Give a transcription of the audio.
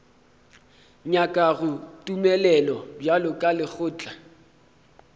nyakago tumelelo bjalo ka lekgotla